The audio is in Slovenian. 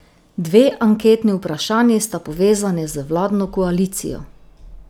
Dve anketni vprašanji sta povezani z vladno koalicijo.